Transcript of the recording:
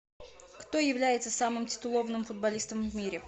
кто является самым титулованным футболистом в мире